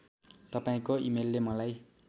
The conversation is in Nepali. तपाईँको इमेलले मलाई